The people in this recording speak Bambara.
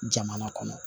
Jamana kɔnɔ